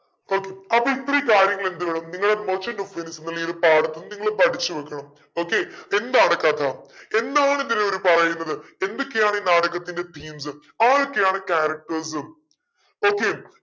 okay അപ്പൊ ഇത്രയും കാര്യങ്ങൾ എന്ത് വേണം നിങ്ങൾ merchant of വെനീസ് ന്നുള്ള ഈ ഒരു പാഠത്തിന്ന് നിങ്ങള് പഠിച്ചു വെക്കണം okay എന്താണ് കഥ എന്താണ് ഇതിൽ അവര് പറയുന്നത് എന്തൊക്കെയാണ് ഈ നാടകത്തിന്റെ themes ആരൊക്കെയാണ് charactersokay